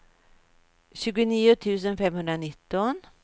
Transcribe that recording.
tjugonio tusen femhundranitton